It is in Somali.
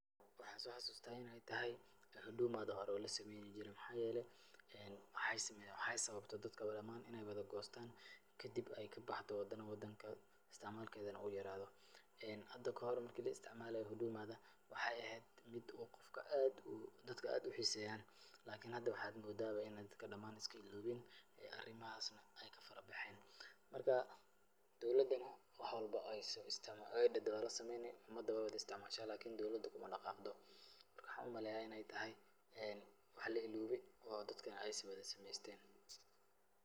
Waxaan soo xasuustaa in ay tahay hudumada hore oo la sameeynijiray. Maxaa yeelay, waxay sameeyaan, waxaa sababtay dadka dhamaan in ay wada goostaan kadib ay ka baxdo hadan wadanka istacmaalkeedana uu yeraado. Hada ka hor marka la istacmaalayey hudumada, waxay eheed mid uu qofka aad uu dadka aad u xiiseeyaan. lakini hada waxaad moodaaba in ay dadka dhamaan iska ilaaween arimahaasna ka farabaxeen. Marka, dowladana wax walbo ay dhahdo waa la sameyni, umada waay wada istacmaasha lakini dowlada ku ma dhaqaaqdo. Marka, waxaan u maleeyaa in ay tahay wax la ilaaway oo dadkana ay wada sameysteen.